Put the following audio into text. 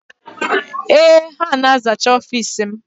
Ee, ha na-azacha ọfiisi m.